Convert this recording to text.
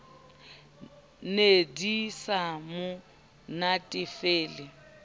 ne di sa mo natefele